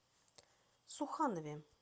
суханове